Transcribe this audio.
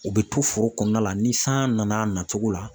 U bɛ to foro kɔnɔna la ni san nana a nacogo la